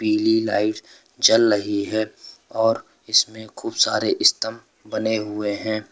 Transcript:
ये लाइट जल रही है और इसमें खूब सारे स्तंभ बने हुए हैं।